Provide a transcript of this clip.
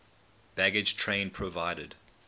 baggage train provided